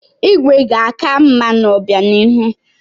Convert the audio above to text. Igwe ga-aka mma n'obịanihu.